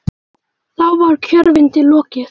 Þá var kjörfundi lokið.